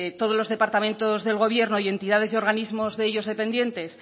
todos los departamentos del gobierno y entidades y organismos de ellos dependientes